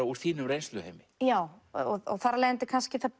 úr þínum reynsluheimi já og þar af leiðandi kannski það